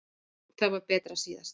Það var betra síðast.